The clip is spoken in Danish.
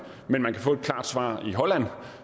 men man kan få et klart svar i holland